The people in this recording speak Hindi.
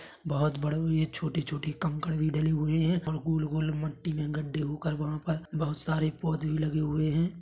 बहुत बड़े और ये छोटे - छोटे कंकड़ भी डले हुए है और गोल - गोल मट्टी में गढ़े होकर वहाँ पर बहुत सारे पौधे भी लगे हुए है।